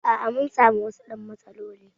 A'a, mun sami wasu "yan matsaloli